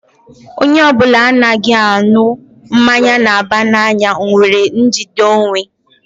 Onye ọbụla na-anaghị aṅụ mmanya na-aba n'anya nwere njide onwe.